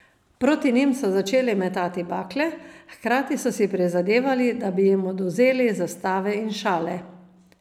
Proti njim so začeli metati bakle, hkrati so si prizadevali, da bi jim odvzeli zastave in šale.